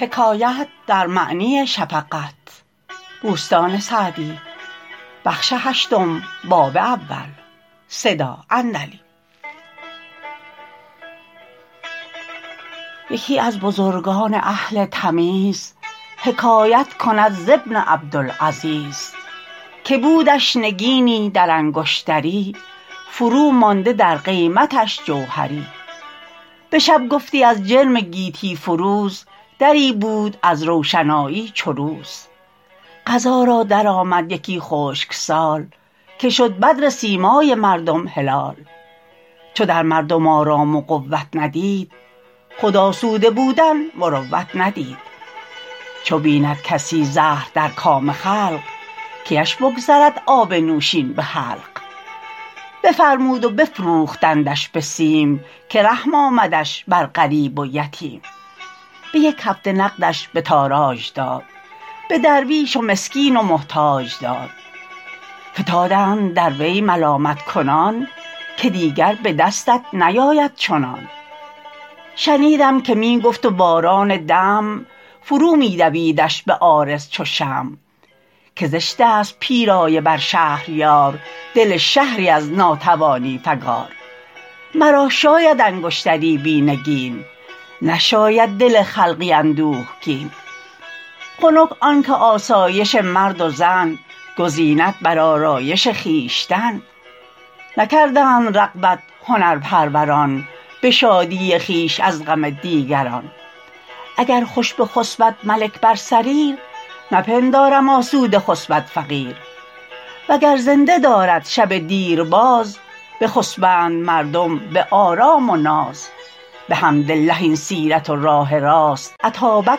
یکی از بزرگان اهل تمیز حکایت کند ز ابن عبدالعزیز که بودش نگینی در انگشتری فرو مانده در قیمتش جوهری به شب گفتی از جرم گیتی فروز دری بود از روشنایی چو روز قضا را درآمد یکی خشک سال که شد بدر سیمای مردم هلال چو در مردم آرام و قوت ندید خود آسوده بودن مروت ندید چو بیند کسی زهر در کام خلق کیش بگذرد آب نوشین به حلق بفرمود و بفروختندش به سیم که رحم آمدش بر غریب و یتیم به یک هفته نقدش به تاراج داد به درویش و مسکین و محتاج داد فتادند در وی ملامت کنان که دیگر به دستت نیاید چنان شنیدم که می گفت و باران دمع فرو می دویدش به عارض چو شمع که زشت است پیرایه بر شهریار دل شهری از ناتوانی فگار مرا شاید انگشتری بی نگین نشاید دل خلقی اندوهگین خنک آن که آسایش مرد و زن گزیند بر آرایش خویشتن نکردند رغبت هنرپروران به شادی خویش از غم دیگران اگر خوش بخسبد ملک بر سریر نپندارم آسوده خسبد فقیر وگر زنده دارد شب دیر باز بخسبند مردم به آرام و ناز بحمدالله این سیرت و راه راست اتابک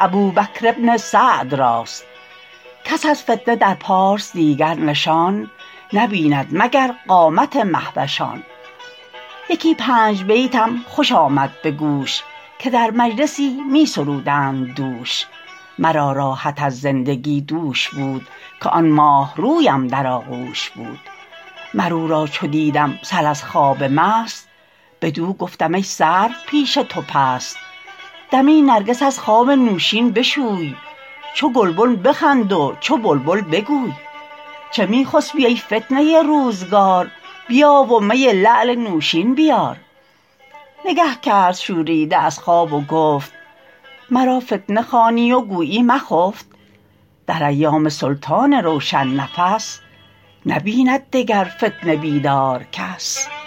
ابوبکر بن سعد راست کس از فتنه در پارس دیگر نشان نبیند مگر قامت مهوشان یکی پنج بیتم خوش آمد به گوش که در مجلسی می سرودند دوش مرا راحت از زندگی دوش بود که آن ماهرویم در آغوش بود مر او را چو دیدم سر از خواب مست بدو گفتم ای سرو پیش تو پست دمی نرگس از خواب نوشین بشوی چو گلبن بخند و چو بلبل بگوی چه می خسبی ای فتنه روزگار بیا و می لعل نوشین بیار نگه کرد شوریده از خواب و گفت مرا فتنه خوانی و گویی مخفت در ایام سلطان روشن نفس نبیند دگر فتنه بیدار کس